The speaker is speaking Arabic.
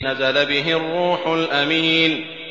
نَزَلَ بِهِ الرُّوحُ الْأَمِينُ